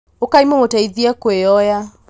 ũkai mũmũteithie kwĩoya